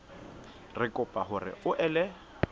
re kopa hore o ele